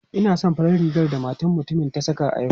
Ina son farar rigar da matar mutumin ta saka a yau.